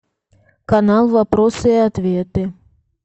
канал вопросы и ответы